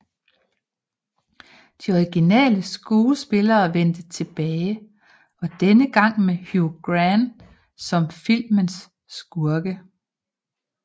De originale skuespillere vendte tilbage og denne gang med Hugh Grant som filmens skurke